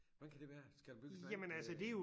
Hvordan kan det være? Skal der bygges noget andet øh